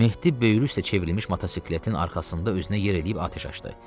Mehdi böyrü üstə çevrilmiş motosikletin arxasında özünə yer eləyib atəş açdı.